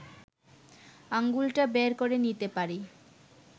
আঙুলটা বের করে নিতে পারি